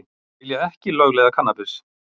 Vilja ekki lögleiða kannabis